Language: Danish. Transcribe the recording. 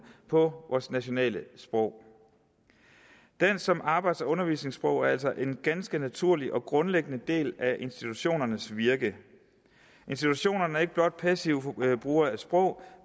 på vores nationale sprog dansk som arbejds og undervisningssprog er altså en ganske naturlig og grundlæggende del af institutionernes virke institutionerne er ikke blot passive brugere af sprog